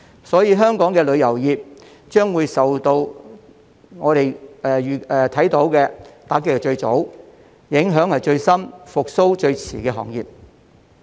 所以，香港的旅遊業將會是我們所看受到打擊最早、所受影響最深、復蘇最遲的行業。